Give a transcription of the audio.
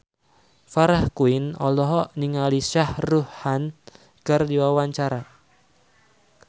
Farah Quinn olohok ningali Shah Rukh Khan keur diwawancara